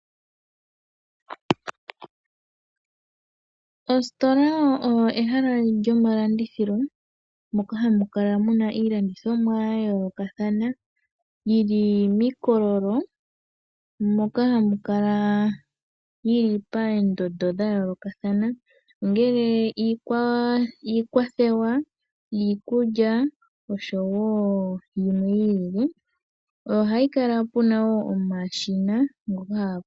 Ositola oyo ehala lyomalandithilo, moka hamu kala mu na iilandithomwa ya yoolokathana, yi li miikololo moka hayi kala yi li paendondo dha yoolokathana, ongele iikwathewa, iikulya oshowo yimwe yi ilile. Ohapu kala wo pu na omashina.